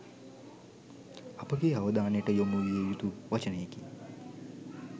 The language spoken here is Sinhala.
අපගේ අවධානයට යොමු විය යුතු වචනයකි